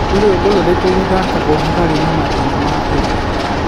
nĩ rwĩmbo rũrĩkũ ruthakaagwo hari mathĩna ma pepe